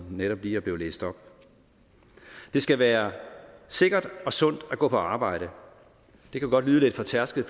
netop er blevet læst op det skal være sikkert og sundt at gå på arbejde det kan godt lyde lidt fortærsket